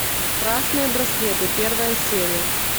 красные браслеты первая серия